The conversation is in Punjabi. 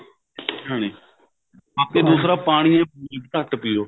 ਹਾਂਜੀ ਤੇ ਦੂਸਰਾ ਪਾਣੀ ਘੱਟ ਪਿਓ